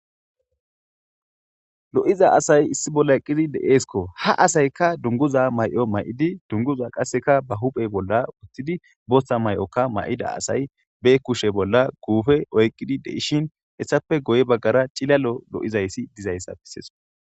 Lo7iza asay issi bolla eqqidi deeeskko ha asayka dunguza may7o may7idi dunguza qasseka ba huphey bolla wuttidi bootha may7okka may7ida asay be kushe bolla guufe oyqqidi deishin hessape goy baggara cilalo lo7izayssi dizayssa biseesko.